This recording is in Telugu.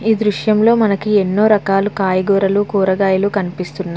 ఈ దృర్శం లో మనకి ఎనో రకాల కురగాయల్లు కాయగురాళ్ళు కనిపిస్తున్న --